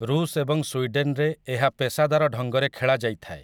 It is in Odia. ଋଷ ଏବଂ ସ୍ୱିଡେନରେ ଏହା ପେସାଦାର ଢଙ୍ଗରେ ଖେଳା ଯାଇଥାଏ ।